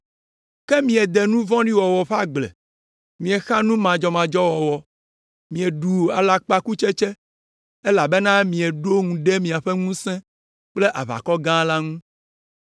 Ke miede nu vɔ̃ɖi wɔwɔ ƒe agble, miexa nu madzɔmadzɔ wɔwɔ, mieɖu alakpakutsetse; elabena mieɖo ŋu ɖe miaƒe ŋusẽ kple aʋakɔ gã la ŋu.